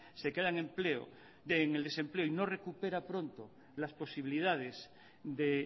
se queda en el desempleo y no recupera pronto las posibilidades de